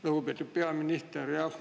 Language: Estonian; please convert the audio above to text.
Lugupeetud peaminister!